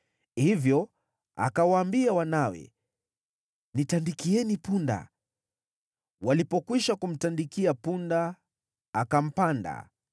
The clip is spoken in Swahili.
Hivyo akawaambia wanawe, “Nitandikieni punda.” Walipokwisha kumtandikia punda, akampanda